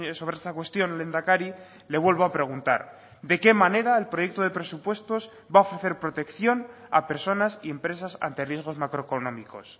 sobre esta cuestión lehendakari le vuelvo a preguntar de qué manera el proyecto de presupuestos va a ofrecer protección a personas impresas ante riesgos macroeconómicos